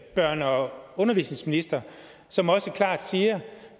børne og undervisningsminister som også klart siger